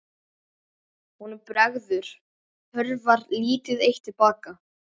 Honum bregður, hörfar lítið eitt til baka.